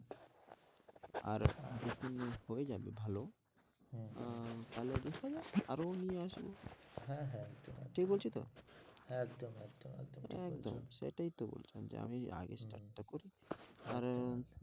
আর যখন হয়েযাবে ভালো হ্যাঁ আহ ভালো বীজ হলে আরো নিয়ে আসবো হ্যাঁ হ্যাঁ ঠিক বলছি তো? একদম, একদম, একদম সেটাই তো বলছি আমি আগে start টা করি কারণ,